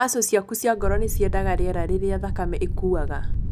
Macũ ciaku cia ngoro nĩciendaga rĩera rĩrĩa thakame ĩkuaga.